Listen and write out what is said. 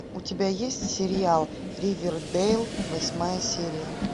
у тебя есть сериал ривердейл восьмая серия